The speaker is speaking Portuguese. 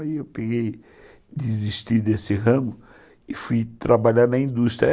Aí eu desisti desse ramo e fui trabalhar na indústria.